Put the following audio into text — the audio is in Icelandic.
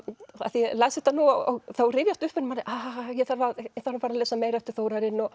ég las þetta og þá rifjast upp fyrir manni ég þarf að lesa meira eftir Þórarin